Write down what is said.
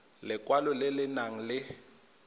lekwalo le le nang le